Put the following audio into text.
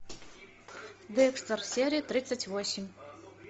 декстер серия тридцать восемь